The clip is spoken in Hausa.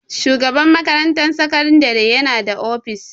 Shugaban makarantar sakandare yana da ofis.